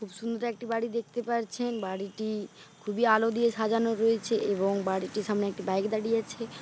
খুব সুন্দর একটি বাড়ি দেখতে পারছেন। বাড়িটি খুবই আলো দিয়ে সাজানো রয়েছে এবং বাড়িটির সামনে একটি বাইক দাঁড়িয়ে আছে।